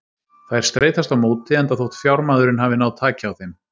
Þær streitast á móti enda þótt fjármaðurinn hafi náð taki á þeim.